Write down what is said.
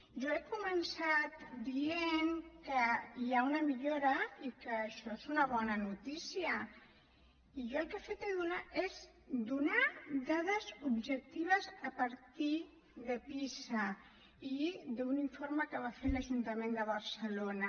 jo he començat dient que hi ha una millora i que això és una bona notícia i jo el que he fet és donar dades objectives a partir de pisa i d’un informe que va fer l’ajuntament de barcelona